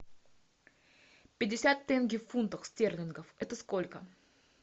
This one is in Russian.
пятьдесят тенге в фунтах стерлингов это сколько